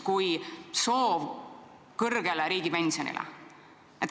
Ükski soov ei ole suurem ja püsivam olnud.